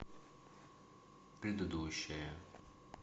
предыдущая